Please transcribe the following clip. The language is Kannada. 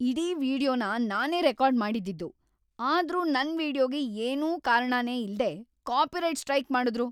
ಇಡೀ ವೀಡಿಯೊನ ನಾನೇ ರೆಕಾರ್ಡ್ ಮಾಡಿದ್ದಿದ್ದು.. ಆದ್ರೂ ನನ್ ವೀಡಿಯೊಗೆ ಏನೂ ಕಾರಣನೇ ಇಲ್ದೇ ಕಾಪಿರೈಟ್ ಸ್ಟ್ರೈಕ್‌ ಮಾಡುದ್ರು.